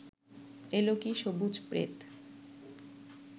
এলো কি সবুজ প্রেত